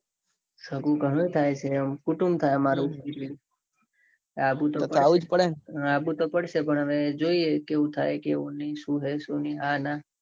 સગું ગણું થાયછે. કુટુંબ થાય અમારું. તો તો એવું જ પડેન. આવવું તો પડશે પણ જોઈએ હવે કેઉં થાઉં કેઉં ની સુ હે સુ ની હા ના.